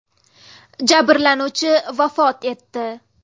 Jabrlanuvchi vafot etdi.